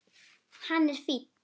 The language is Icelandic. Hann er fínn.